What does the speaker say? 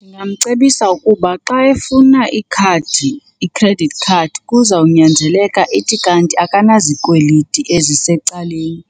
Ndingamcebisa ukuba xa efuna ikhadi, i-credit card, kuzawunyanzeleka ithi kanti akanazikweliti ezisecaleni